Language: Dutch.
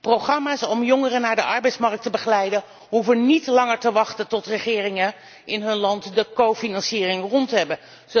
Programma's om jongeren naar de arbeidsmarkt te begeleiden hoeven niet langer te wachten tot regeringen in hun land de medefinanciering rond hebben.